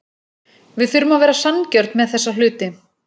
Við þurfum að vera sanngjörn með þessa hluti.